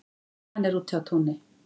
Nei, hann er úti á túni